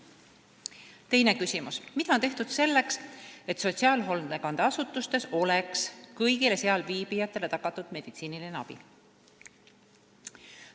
Teine küsimus: "Mida on tehtud selleks, et sotsiaalhoolekandeasutustes oleks kõigile seal viibijatele tagatud meditsiiniline abi?